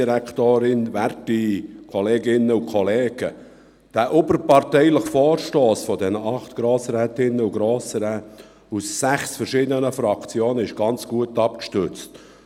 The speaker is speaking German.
Dieser überparteiliche Vorstoss von acht Grossräten und Grossrätinnen aus sechs verschiedenen Fraktionen ist sehr breit abgestützt.